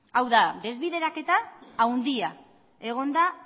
hau da desbideraketa handia egon da